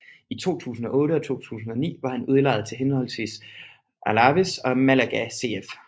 I 2008 og 2009 var han udlejet til henholdsvis Alavés og Málaga CF